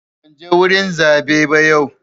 Ban je wurin zaɓe ba yau.